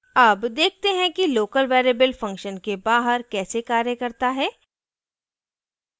अब देखते हैं कि local variable function के बाहर कैसे कार्य करता है